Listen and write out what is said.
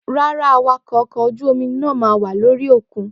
Rárá Awakọ̀ ọkọ̀ ojú omi ńlá náà máa wá ní orí òkun